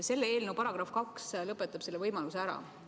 Selle eelnõu § 2 lõpetab selle võimaluse ära.